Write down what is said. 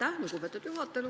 Aitäh, lugupeetud juhataja!